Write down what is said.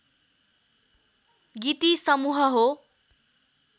गीति समूह हो